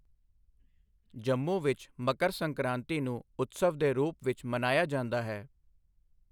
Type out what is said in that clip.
ਜੰਮੂ ਵਿੱਚ ਮਕਰ ਸੰਕ੍ਰਾਂਤੀ ਨੂੰ ਉਤਸਵ ਦੇ ਰੂਪ ਵਿੱਚ ਮਨਾਇਆ ਜਾਂਦਾ ਹੈ।